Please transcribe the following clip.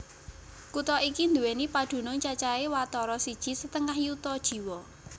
Kutha iki nduwèni padunung cacahé watara siji setengah yuta jiwa